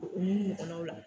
U n'u ɲɔkɔnaw la.